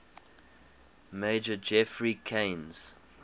major geoffrey keyes